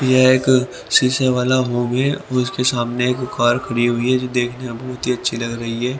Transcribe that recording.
यह एक शीशे वाला होम है उसके सामने एक कार खड़ी हुई है बहुत ही अच्छी लग रही है।